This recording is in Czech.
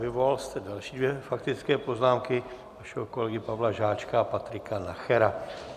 Vyvolal jste další dvě faktické poznámky - vašeho kolegy Pavla Žáčka a Patrika Nachera.